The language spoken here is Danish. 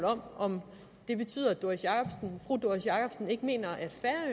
om om det betyder at fru doris jakobsen ikke mener